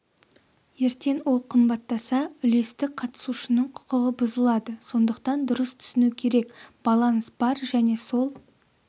ертең ол қымбаттаса үлестік қатысушының құқығы бұзылады сондықтан дұрыс түсіну керек баланс бар және сол